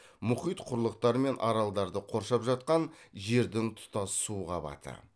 мұхит құрлықтар мен аралдарды қоршап жатқан жердің тұтас су қабаты